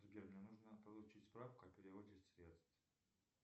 сбер мне нужно получить справку о переводе средств